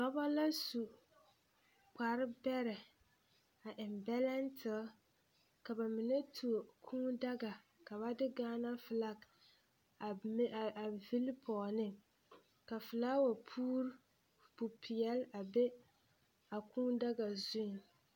Dɔbɔ la su kparbɛrɛ a eŋ bɛlɛntere ka ba mine tuo kūūdaga ka ba de ɡaanafelak a vili pɔɡe ne ka felaawɛ pupeɛle a be a kūūdaga zuiŋ.